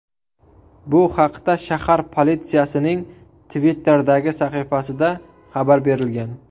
Bu haqda shahar politsiyasining Twitter’dagi sahifasida xabar berilgan .